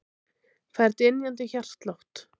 Fær dynjandi hjartslátt.